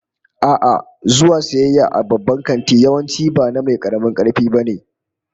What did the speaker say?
A'a, zuwa sayayya a babban kanti yawanci ba na mai karamin karfi ba ne